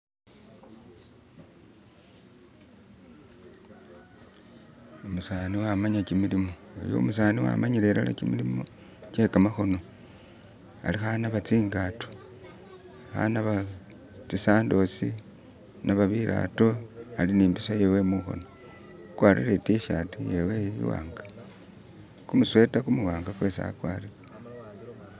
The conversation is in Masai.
Umeseza wamanya jimilimo, iyu umuseza wamanyila ilala jimilimo gye gamakono ali kunaaba zingaato . Ali kunaaba zi sandols, anaba bigaato ali ni mpiso iyewe munkono agwatile itishati iyewe imwanga gumusweta gumuwanga gwesi agwatile